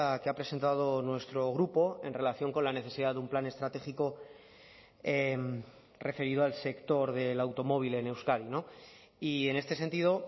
que ha presentado nuestro grupo en relación con la necesidad de un plan estratégico referido al sector del automóvil en euskadi y en este sentido